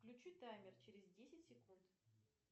включи таймер через десять секунд